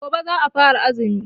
Gobe za'a fara azumi.